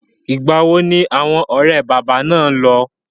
Ìgbà wo ni awọn ọ̀rẹ́ bàbá náà lọ?